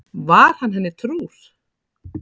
Var hann henni trúr?